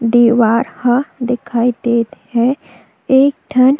दीवार ह दिखाई देत है एक ठन--